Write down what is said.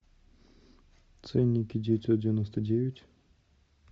ценники девятьсот девяносто девять